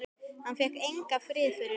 Hann fékk engan frið fyrir henni.